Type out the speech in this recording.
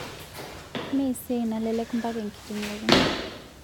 Mme esiai nalelek mpaka ekiting'oto